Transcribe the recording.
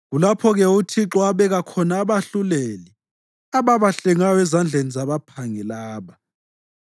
Kulapho-ke uThixo abeka khona abahluleli ababahlengayo ezandleni zabaphangi laba.